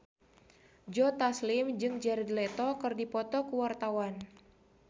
Joe Taslim jeung Jared Leto keur dipoto ku wartawan